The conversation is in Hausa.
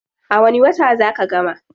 A wani wata zaa ka gama?